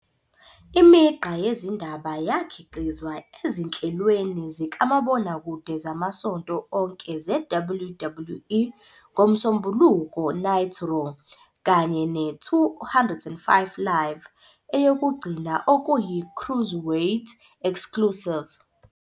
Imigqa yezindaba yakhiqizwa ezinhlelweni zikamabonakude zamasonto onke ze-WWE "ngoMsombuluko Night Raw" kanye ne- "205 Live", eyokugcina okuyi- cruiserweight -exclusive.